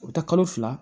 U bɛ taa kalo fila